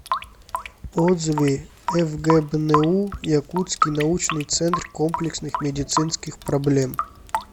отзывы фгбну якутский научный центр комплексных медицинских проблем